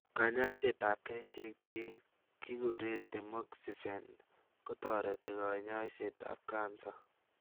kanyaiset ap kerichek chekigure temoxifen kotareti kanyaiset ap cancer